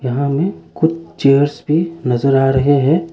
वहाँ में कुछ चेयर्स भी नजर आ रहे हैं।